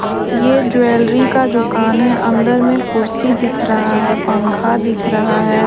ये एक ज्वेलरी का दुकान है अंदर में कुर्सी दिख रहा है पंखा दिख रहा है।